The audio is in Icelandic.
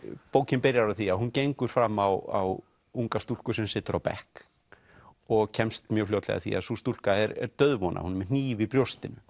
bókin byrjar á því að hún gengur fram á unga stúlku sem situr á bekk og kemst mjög fljótlega að því að sú stúlka er dauðvona hún er með hníf í brjóstinu